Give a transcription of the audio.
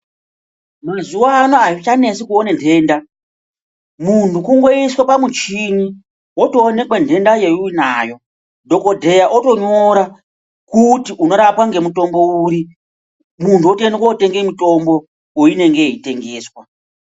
Mazuva ano azvichanentsi kuona ndenda muntu kungoiswa pamuchini wongoonekwa ndenda yaunayo dhokodheya otonyora kuti unorapwa nemutombo uri muntu atoenda kotenga mutombo kwaunenge weitengeswa.